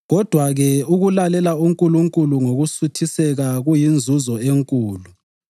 Kodwa-ke, ukulalela uNkulunkulu ngokusuthiseka kuyinzuzo enkulu.